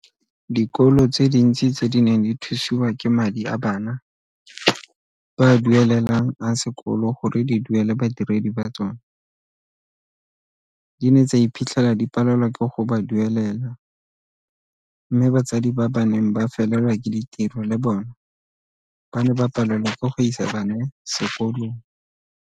Dikolo tse dintsi tse di neng di thusiwa ke madi a bana ba a duele lang a sekolo gore di duele badiredi ba tsona di ne tsa iphitlhela di palelwa ke go ba duelela mme batsadi ba ba neng ba felelwa ke ditiro le bona ba ne ba palelwa ke go isa bana sekolong.